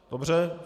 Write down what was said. Dobře.